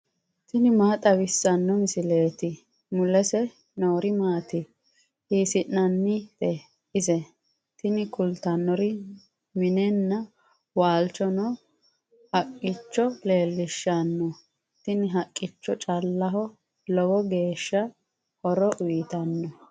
tini maa xawissanno misileeti ? mulese noori maati ? hiissinannite ise ? tini kultannori minenna waalchoho noo haqqicho leellishshanno. tini haqqicho caaleho lowo geeshsha horo uyiitannote.